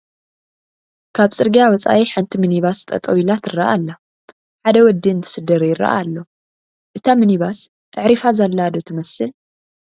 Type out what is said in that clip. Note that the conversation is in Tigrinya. ካብ ፅርግያ ወፃኢ ሓንቲ ሚኒባስ ጠጠው ኢላ ትረአ ኣላ፣ ሓደ ወዲ እንትስድር ይረአ ኣሎ፡፡ እታ ሚኒባስ ኣዕሪፋ ዘላ ዶ ትመስል?